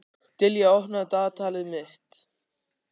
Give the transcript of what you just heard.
Dilja, opnaðu dagatalið mitt.